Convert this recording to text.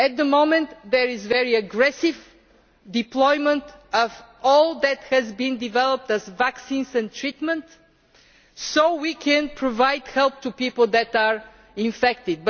At the moment, there is very aggressive deployment of all that has been developed in terms of vaccines and treatment so that we can provide help to people who are infected.